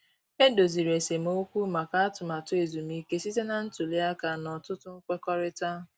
E doziri esemokwu maka atụmatụ ezumike site na ntuli aka na ọtụtụ nkwekọrịta.